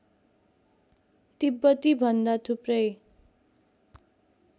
तिब्बती भन्दा थुप्रै